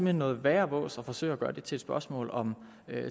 hen noget værre vås at forsøge at gøre det til et spørgsmål om